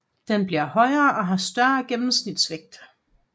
Den bliver højere og har større gennemsnitsvægt